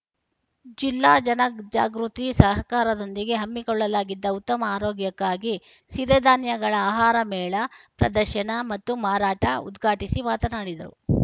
ಜಿಲ್ಲಾ ಜನಜಾಗೃತಿ ಸಹಕಾರದೊಂದಿಗೆ ಹಮ್ಮಿಕೊಳ್ಳಲಾಗಿದ್ದ ಉತ್ತಮ ಆರೋಗ್ಯಕ್ಕಾಗಿ ಸಿರಿ ಧಾನ್ಯಗಳ ಆಹಾರ ಮೇಳ ಪ್ರದರ್ಶನ ಮತ್ತು ಮಾರಾಟ ಉದ್ಘಾಟಿಸಿ ಮಾತನಾಡಿದರು